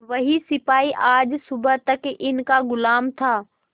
वह सिपाही आज सुबह तक इनका गुलाम था